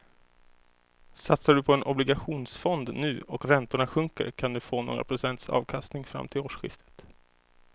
Satsar du på en obligationsfond nu och räntorna sjunker kan du få några procents avkastning fram till årsskiftet.